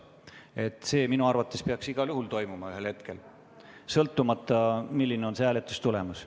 See peaks minu arvates igal juhul ühel hetkel toimuma sõltumata sellest, milline on tänase hääletuse tulemus.